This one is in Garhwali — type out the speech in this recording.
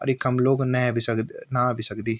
अर इखम लोग नये भी सक नाहा भी सकदी।